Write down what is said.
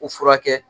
U furakɛ